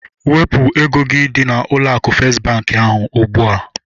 Wepụ ego gị dị n'ụlọ akụ festi bankị ahụ ugbua!